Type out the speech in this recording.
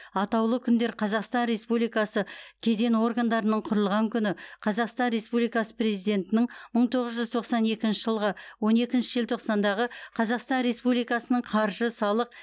атаулы күндер қазақстан республикасы кеден органдарының құрылған күні қазақстан республикасы президентінің мың тоғыз жүз тоқсан екінші жылғы он екінші желтоқсандағы қазақстан республикасының қаржы салық